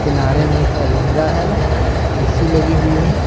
किनारे में एक अलमीरा है ए_सी लगी हुई है।